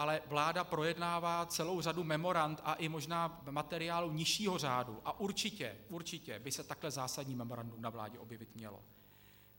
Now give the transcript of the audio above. Ale vláda projednává celou řadu memorand a i možná materiálů nižšího řádu a určitě, určitě by se tahle zásadní memorandum na vládě objevit mělo.